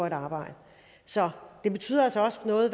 at arbejde så den betyder altså også noget